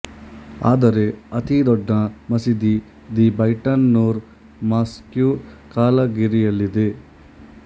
ಆದರೆ ಅತೀ ದೊಡ್ಡ ಮಸೀದಿ ದಿ ಬೈಟನ್ ನೂರ್ ಮಾಸ್ಕ್ಯು ಕಾಲ್ಗರಿಯಲ್ಲಿದೆ